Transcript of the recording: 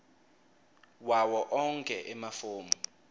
wawo onkhe emafomu